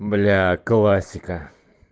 бля классика